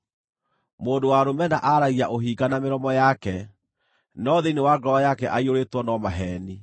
Mũndũ wa rũmena aaragia ũhinga na mĩromo yake, no thĩinĩ wa ngoro yake aiyũrĩtwo no maheeni.